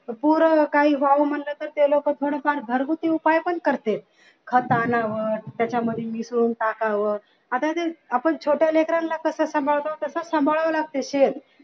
पूर काही वाहू म्हणलं तर ते लोक घरगुती उपाय पण करतेत खत आणावं त्याच्यामध्ये मिसळून टाकावं आता इथे छोट्या लेकरांना कस सांभाळावं लागत तस सांभाळावं लागतंय same